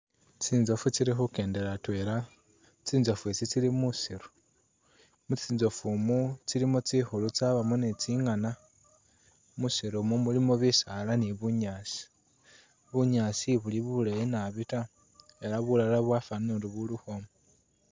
Tsinzofu tsili khukyendela atwela tsinzofu tsi tsili musiru ,mutsinzofu mu tsilimo tsingulu tsabamo ni tsingana ,musiru mu mulimo bisala ni bunyaasi, bunyaasi ibuli buleyi nabi taa ela bulala bwafanile nga buli ukhwoma .